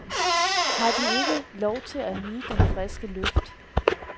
Har de ikke lov til at nyde den friske luft?